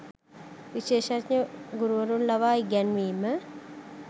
විශේෂඥ ගුරුවරුන් ලවා ඉගැන්වීම